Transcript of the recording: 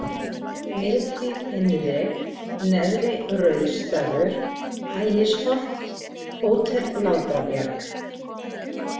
Miðhlíð Innri, Neðri-Rauðsdalur, Ægisholt, Hótel Látrabjarg